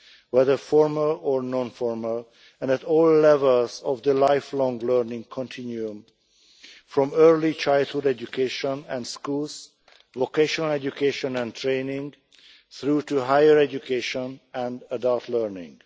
whether formal or non formal, and at all levels of the lifelong learning continuum, from early childhood education and schools, vocational education and training through to higher education and adult learning